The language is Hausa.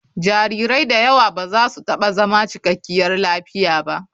Jarirai da yawa ba za su taɓa zama cikakkiyar lafiya ba.